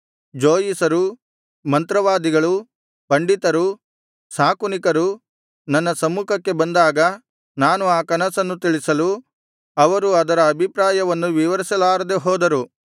ಜೋಯಿಸರು ಮಂತ್ರವಾದಿಗಳು ಪಂಡಿತರು ಶಾಕುನಿಕರು ನನ್ನ ಸಮ್ಮುಖಕ್ಕೆ ಬಂದಾಗ ನಾನು ಆ ಕನಸನ್ನು ತಿಳಿಸಲು ಅವರು ಅದರ ಅಭಿಪ್ರಾಯವನ್ನು ವಿವರಿಸಲಾರದೆ ಹೋದರು